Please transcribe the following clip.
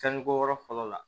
Sanu bɔ yɔrɔ fɔlɔ la